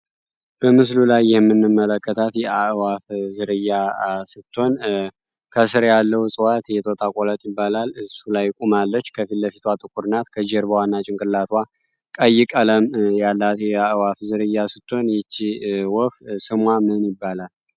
በምስሉ ላይ የምንመለከታት የአዋሳ ዝርያ ስትሆን ከስር ያለው ይባላል እሱ ላይ ቁማለች ከፊትለፊቷ ጥቁር ናት ከጀርባዋና ጭንቅላቱ ጠይቅ ያላት ዝርያ ወፍ ሰሟ ምን ይባላል